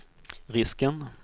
risken